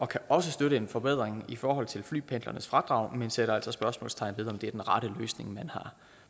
kan også støtte en forbedring i forhold til flypendlernes fradrag men sætter altså spørgsmålstegn ved om det er den rette løsning